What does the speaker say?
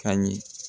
Ka ɲɛ